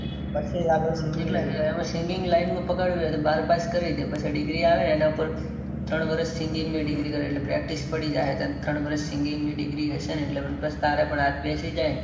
singing line પકડવી હોય. તો બાર pass કરીદે. પછી degree આવે એના ઉપર ત્રણ વરસ singing ની degree કરીલે. practice પડી જાહે. ત્રણ વરસ singing ની degree હસેન એટલે તારે પણ થઇ જહેં.